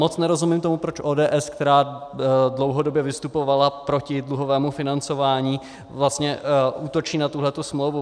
Moc nerozumím tomu, proč ODS, která dlouhodobě vystupovala proti dluhovému financování, vlastně útočí na tuhle smlouvu.